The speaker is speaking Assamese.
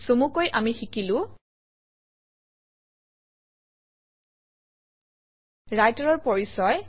চমুকৈ আমি শিকিলো ৰাইটাৰৰ পৰিচয়